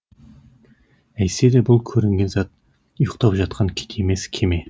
әйтсе де бұл көрінген зат ұйықтап жатқан кит емес кеме